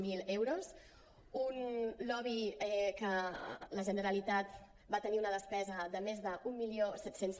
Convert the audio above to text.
zero euros un lobby que la generalitat va tenir una despesa de més d’mil set cents